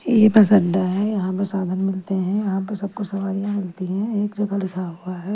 ये बस अड्डा है यहां पर साधन मिलते हैं यहां पर सबको सवारियां मिलती हैं एक जगह लिखा हुआ है --